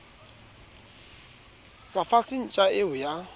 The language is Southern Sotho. sa fase ntja eo ya